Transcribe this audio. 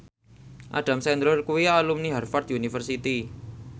Adam Sandler kuwi alumni Harvard university